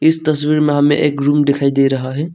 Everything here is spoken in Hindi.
इस तस्वीर में हमें एक रूम दिखाई दे रहा है।